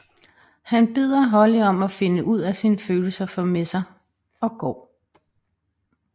Han beder Holly om at finde ud af sine følelser for Messer og går